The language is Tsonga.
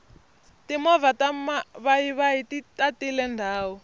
timovha ta mavayivayi ti tatile ndhawu